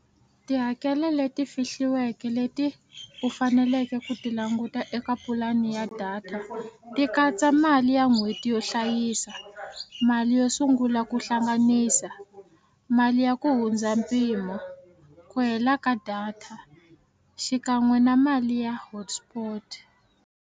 Tihakelo leti fihliweke leti u faneleke ku ti languta eka pulani ya data ti katsa mali ya n'hweti yo hlayisa mali yo sungula ku hlanganisa mali ya ku hundza mpimo ku hela ka data xikan'we na mali ya hotspot.